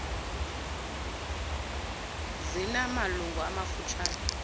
zina malungu amafutshane